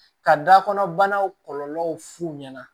Ka da kɔnɔ banaw kɔlɔlɔw f'u ɲɛna